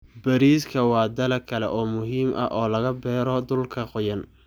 Bariiska waa dalag kale oo muhiim ah oo laga beero dhulka qoyan.